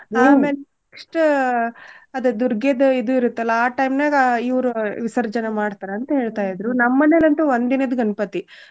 ಅಮೇಲ್ next ಅದೂ ದುರ್ಗೆದು ಇದು ಇರುತ್ತಲ್ಲ ಆ time ನ್ಯಾಗ ಇವ್ರು ವಿಸರ್ಜನೇ ಮಾಡ್ತಾರ್ ಅಂತ್ ಹೇಳ್ತಾಇದ್ರು. ನಮ್ ಮನೇಲ್ ಅಂತು ಒಂದ್ ದಿನದ್ ಗಣ್ಪತಿ.